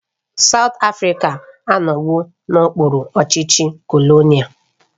South Africa anọwo n'okpuru ọchịchị kolonial